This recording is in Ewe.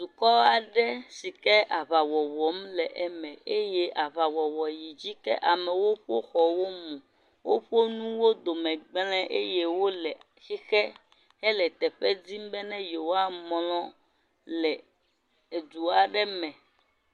Dukɔ aɖe si ke aʋa wɔwɔm le eme eye aʋawɔwɔ yi dzi. Ke amewo ƒe xɔwo mu. Woƒe nuwo dome gblẽ eye wole xixe hele teƒe dim be ne yewoamlɔ le edu aɖe me.